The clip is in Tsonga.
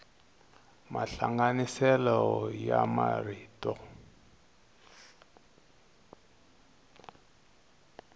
mahlanganiso ya marito